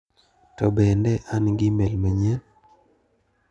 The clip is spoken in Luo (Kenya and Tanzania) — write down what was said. To bende an gi imel manyien?